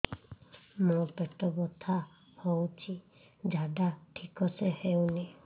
ମୋ ପେଟ ବଥା ହୋଉଛି ଝାଡା ଠିକ ସେ ହେଉନି